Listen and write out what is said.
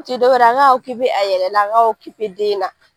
u ti dɔwɛrɛ ye a k'a a yɛrɛ la a ka den na.